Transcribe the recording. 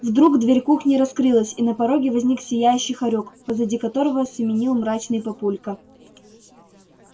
вдруг дверь кухни раскрылась и на пороге возник сияющий хорёк позади которого семенил мрачный папулька